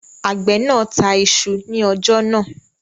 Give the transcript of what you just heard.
Àgbẹ̀ náà ta isu ní ọjà náà